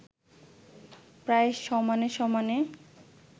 প্রায় সমানে-সমানে